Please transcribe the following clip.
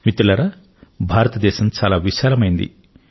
మిత్రులారా భారతదేశం చాలా విశాలమైంది